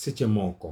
Seche moko,